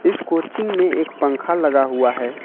इस कोचिंग में एक पंख लगा हुआ है।